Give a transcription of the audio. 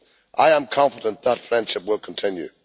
I am confident that friendship will continue.